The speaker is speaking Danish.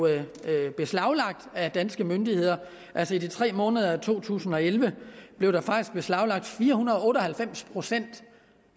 beslaglagt af danske myndigheder altså i de tre måneder i to tusind og elleve blev der faktisk beslaglagt fire hundrede og otte og halvfems procent